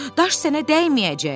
daş sənə dəyməyəcək.